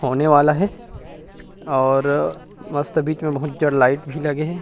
होने वाला हे और मस्त बिच में बहुत जड़ लाइट भी लगे हे ।